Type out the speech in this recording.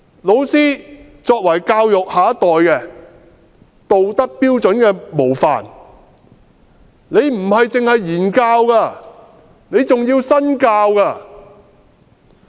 老師作為教育下一代的道德標準模範，不只是言教，還要身教。